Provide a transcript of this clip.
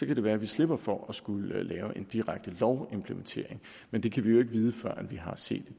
kan det være at vi slipper for at skulle lave en direkte lovimplementering men det kan vi jo ikke vide før vi har set et